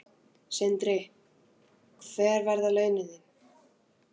Sindri: Hver verða þá laun þín?